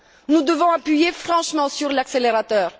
Nous devons appuyer franchement sur l'accélérateur.